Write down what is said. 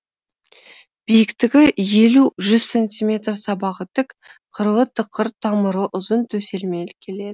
биіктігі елу жүз сантиметр сабағы тік қырлы тықыр тамыры ұзын төселмелі келеді